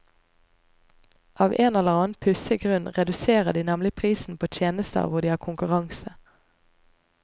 Av en eller annen pussig grunn reduserer de nemlig prisen på tjenester hvor de har konkurranse.